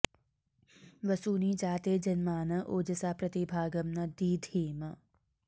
वसू॑नि जा॒ते जन॑मान॒ ओज॑सा॒ प्रति॑ भा॒गं न दी॑धिम